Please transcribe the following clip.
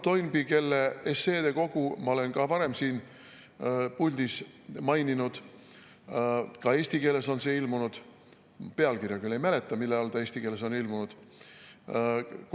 Tema esseekogu ma olen ka varem siin puldis maininud, ka eesti keeles on see ilmunud, ma küll ei mäleta pealkirja, mille all ta eesti keeles ilmunud on.